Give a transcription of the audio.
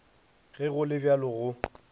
ge go le bjalo go